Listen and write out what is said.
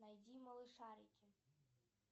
найди малышарики